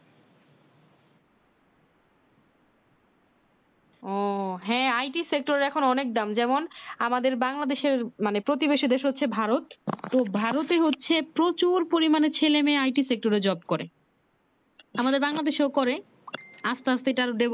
ও হ্যাঁ ।t Sector এখন অনেক দাম যেমন আমাদের বাংলাদেশের মানে প্রতিবেশী দেশ হচ্ছে ভারত তো ভারতে হচ্ছে প্রচুর পরিমানে ছেলে নেই it sector এ job করে আমাদের বাংলাদেশও করে আসতে আসতে এটা Develop